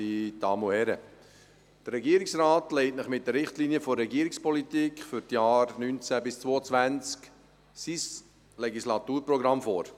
Der Regierungsrat legt Ihnen mit den Richtlinien der Regierungspolitik für die Jahre 2019–2022 sein Legislaturprogramm vor.